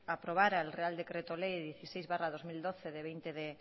aprobara el real decreto ley dieciséis barra veinte mil doscientos doce de veinte de